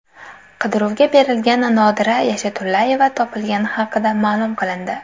Qidiruvga berilgan Nodira Yashatulayeva topilgani haqida ma’lum qilindi.